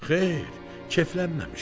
Xeyr, keyflənməmişdi.